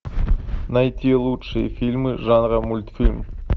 найти лучшие фильмы жанра мультфильм